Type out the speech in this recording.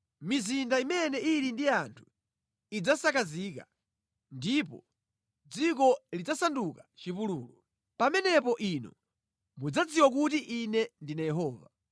Mizinda imene ili ndi anthu idzasakazika ndipo dziko lidzasanduka chipululu. Pamenepo inu mudzadziwa kuti Ine ndine Yehova.”